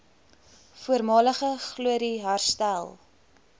voormalige glorie herstel